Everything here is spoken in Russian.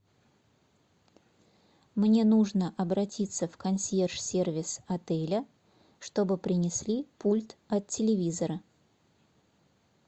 мне нужно обратиться в консьерж сервис отеля чтобы принесли пульт от телевизора